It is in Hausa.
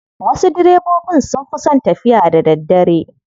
Wasu direbobin sun fi son tafiya da daddare.